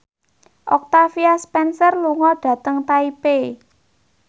Octavia Spencer lunga dhateng Taipei